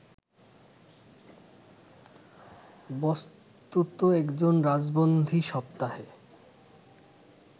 বস্তুত একজন রাজবন্দী সপ্তাহে